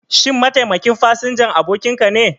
Shin mataimakin fasinjan abokinka ne?